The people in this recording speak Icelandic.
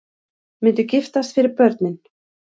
Myndu giftast fyrir börnin